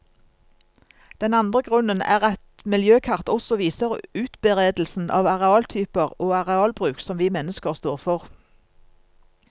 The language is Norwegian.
Den andre grunnen er at miljøkart også viser utberedelsen av arealtyper og arealbruk som vi mennesker står for.